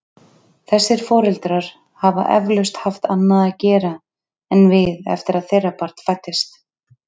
Þessir foreldrar hafa eflaust haft annað að gera en við eftir að þeirra barn fæddist.